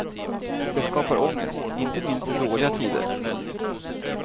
Det skapar ångest inte minst i dåliga tider. punkt